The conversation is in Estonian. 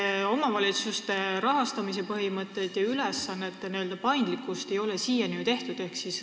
Pean silmas omavalitsuste rahastamise põhimõtteid ja ülesannete paindlikkust.